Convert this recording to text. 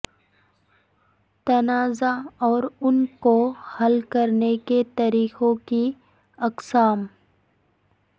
تنازعہ اور ان کو حل کرنے کے طریقوں کی اقسام